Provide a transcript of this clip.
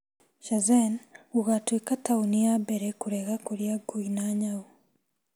Shenzhen gũgatuĩka taũni ya mbere kũrega kũrĩa ngui na paka